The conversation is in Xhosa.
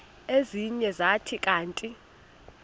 ezinye zathi kanti